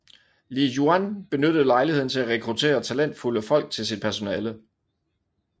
Li Yuan benyttede lejligheden til at rekruttere talentfulde folk til sit personale